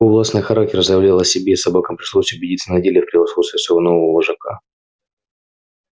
властный характер заявлял о себе и собакам пришлось убедиться на деле в превосходстве своего нового вожака